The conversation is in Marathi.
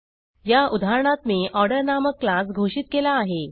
या उदाहरणात मी ऑर्डर नामक क्लास घोषित केला आहे